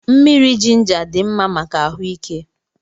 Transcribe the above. Mmiri jịnjà dị mmá màkà ahuike